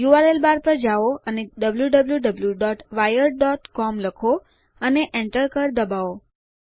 URL bar પર જાઓ અને wwwwiredcom લખો અને Enter કળ દબાવો